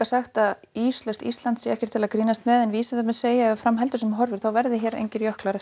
sagt að íslaust Ísland sé ekkert til að grínast með en vísindamenn segja að ef fram heldur sem horfir verði allir jöklar